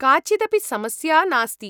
काचिदपि समस्या नास्ति।